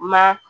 Ma